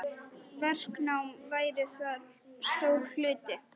Verknám væri þar stór hluti.